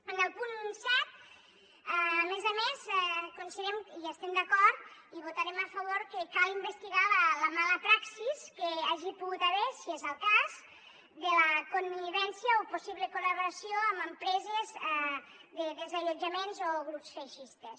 en el punt set a més a més considerem hi estem d’acord i hi votarem a favor que al investigar la mala praxi que hi hagi pogut haver si és el cas de la connivència o possible col·laboració amb empreses de desallotjaments o grups feixistes